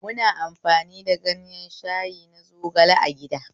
Muna amfani da ganyen shayi na zogale a gida